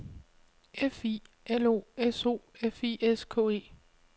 F I L O S O F I S K E